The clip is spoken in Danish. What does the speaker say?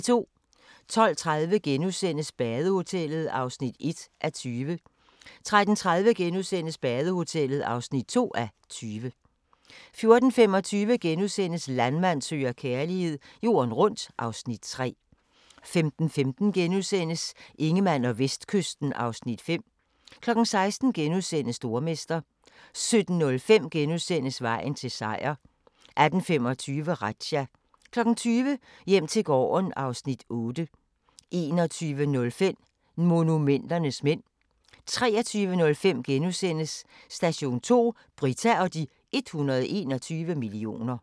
12:30: Badehotellet (1:20)* 13:30: Badehotellet (2:20)* 14:25: Landmand søger kærlighed - jorden rundt (Afs. 3)* 15:15: Ingemann og Vestkysten (Afs. 5)* 16:00: Stormester * 17:05: Vejen til Seier * 18:25: Razzia 20:00: Hjem til gården (Afs. 8) 21:05: Monumenternes mænd 23:05: Station 2: Britta og de 121 millioner *